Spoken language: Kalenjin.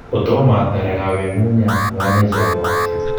kotomo atar ak awe eng nyungunyat kogameche abwatyi